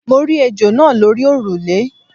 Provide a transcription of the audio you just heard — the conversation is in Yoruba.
Mo rí ejò náa lórí òrùlé